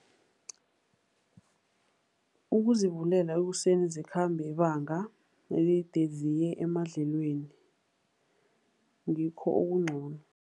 Ukuzivulela ekuseni zikhambe ibanga elide ziye emadlelweni, ngikho okungcono.